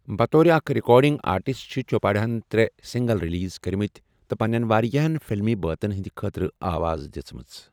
بَطورِ اَکھ recording artist چھِ چوپڈاہن ترٛےٚ سِنٛگَل رِلیٖز کٔرِمٕتی تہٕ پنٛنیٚن واریاہن فِلمی بٲتَن ہِنٛدِ خٲطرٕ آواز دِژمٕژ۔